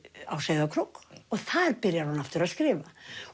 á Sauðárkrók og þar byrjar hún aftur að skrifa